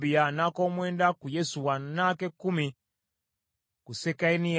n’ak’omwenda ku Yesuwa, n’ak’ekkumi ku Sekaniya,